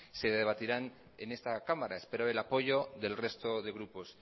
se debatirán en esta cámara espero el apoyo del resto de grupos